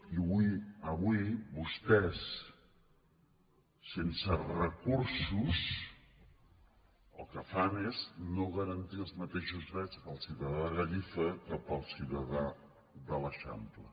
i avui vostès sense recursos el que fan és no garantir els mateixos drets al ciutadà de gallifa que al ciutadà de l’eixample